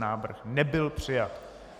Návrh nebyl přijat.